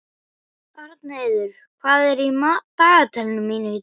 Arnheiður, hvað er í dagatalinu mínu í dag?